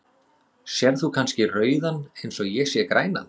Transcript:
Sérð þú kannski rauðan eins og ég sé grænan?.